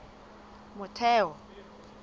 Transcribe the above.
motheo